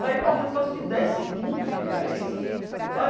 Saia correndo por causa de dez segundos de diferença sabe.